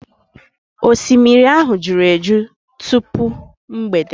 osimiri ahụ juru eju tupu mgbede.